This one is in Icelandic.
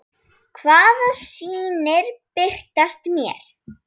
Hvaða sýnir birtast mér?